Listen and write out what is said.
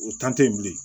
O t'an te yen bilen